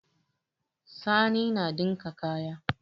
Sani na ɗinka kaya.